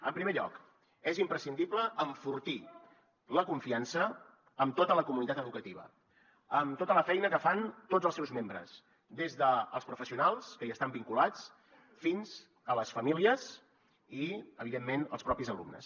en primer lloc és imprescindible enfortir la confiança en tota la comunitat educativa en tota la feina que fan tots els seus membres des dels professionals que hi estan vinculats fins a les famílies i evidentment els propis alumnes